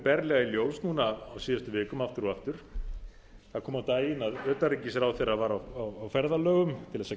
berlega í ljós núna á síðustu vikum aftur og aftur það kom á daginn að utanríkisráðherra var á ferðalögum til þess að